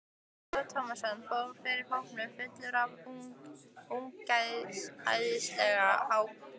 Ólafur Tómasson fór fyrir hópnum fullur af ungæðislegri ákefð.